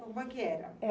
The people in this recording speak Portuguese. Como é que era?